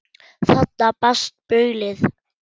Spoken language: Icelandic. Þaðan barst baulið.